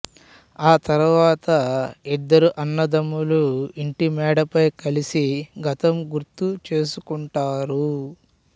ఆ తరువాత ఇద్దరు అన్నదమ్ములు ఇంటి మెడపై కలిసి గతం గుర్తు చెసుకుంటారు